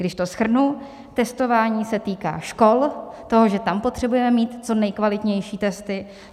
Když to shrnu: Testování se týká škol, toho, že tam potřebujeme mít co nejkvalitnější testy.